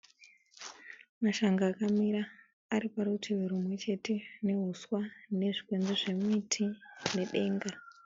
Mashanga akamira ari parutivi rumwechete neuswa nezvimiti nedenga